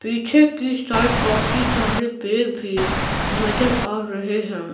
पीछे की साइड काफी सारे पेग भी नजर आ रहे हैं।